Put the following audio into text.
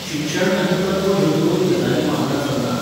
शिक्षण आनी तत्व ह्यो दोन गजाली वांगडा चलनात.